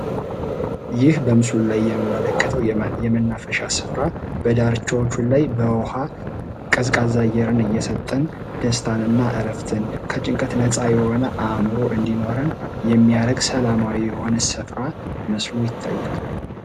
ይህ በምስሉ ላይ የምንመለከተዉ የመናፈሻ ስፍራ በዳርቻዎቹ ላይ በዉኃ ቀዝቃዛ አየርን እየሰጠን ደስታን እና ረፍትን ከጭንቀት ነፃ የሆነ አዕምሮ እንዲኖረን የሚያደርግ ሰላማዊ የሆነ ስፍራ መስሎ ይታያል።